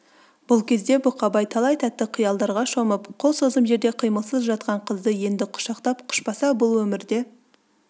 бұл кезде бұқабай талай тәтті қиялдарға шомып қол созым жерде қимылсыз жатқан қызды енді құшақтап құшпаса бұл өмірде